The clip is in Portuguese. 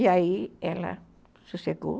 E aí ela sossegou.